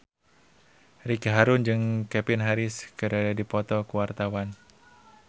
Ricky Harun jeung Calvin Harris keur dipoto ku wartawan